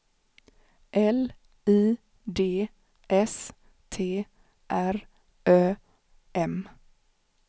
L I D S T R Ö M